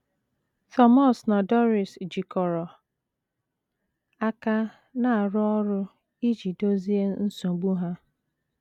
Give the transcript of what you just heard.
Thomas na Doris jikọrọ aka na - arụ ọrụ iji dozie nsogbu ha.